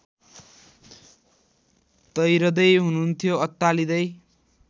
तैरँदै हुनुहुन्थ्यो अत्तालिँदै